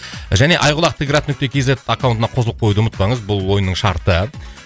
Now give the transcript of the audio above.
және айқұлақ т град нүкте кз аккаунтына қосылып қоюды ұмытпаңыз бұл ойынның шарты